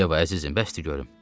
Yeva, əzizim, bəsdir görüm.